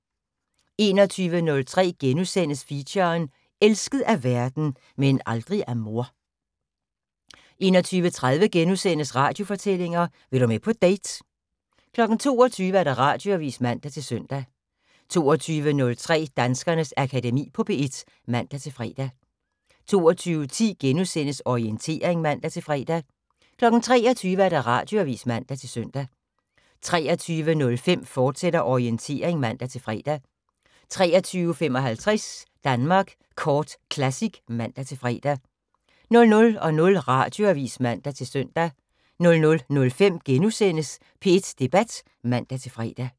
21:03: Feature: Elsket af verden - men aldrig af mor * 21:30: Radiofortællinger: Vil du med på date? * 22:00: Radioavis (man-søn) 22:03: Danskernes Akademi på P1 (man-fre) 22:10: Orientering *(man-fre) 23:00: Radioavis (man-søn) 23:05: Orientering, fortsat (man-fre) 23:55: Danmark Kort Classic (man-fre) 00:00: Radioavis (man-søn) 00:05: P1 Debat *(man-fre)